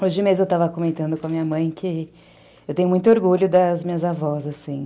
Hoje mesmo eu estava comentando com a minha mãe que eu tenho muito orgulho das minhas avós, assim.